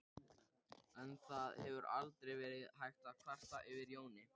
En það hefur aldrei verið hægt að kvarta yfir Jóni.